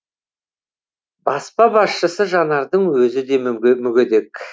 баспа басшысы жанардың өзі де мүгедек